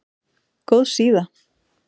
Góð síða